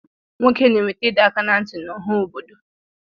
Nwoke na-enweta ịdọaka ná ntị n'ọha obodo